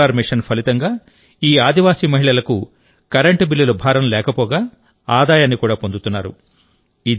solar machine ఫలితంగా ఈ ఆదివాసీ మహిళలకు కరెంటు బిల్లుల భారం లేకపోగా ఆదాయాన్ని కూడాపొందుతున్నారు